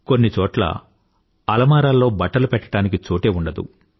కొన్ని చోట్ల అలామారాల్లో బట్టలు పెట్టడానికి చోటే ఉండదు